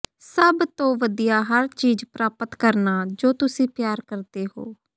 ਸਭ ਤੋਂ ਵਧੀਆ ਹਰ ਚੀਜ਼ ਪ੍ਰਾਪਤ ਕਰਨਾ ਜੋ ਤੁਸੀਂ ਪਿਆਰ ਕਰਦੇ ਹੋ